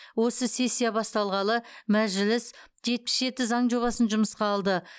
осы сессия басталғалы мәжіліс жетпіс жеті заң жобасын жұмысқа алды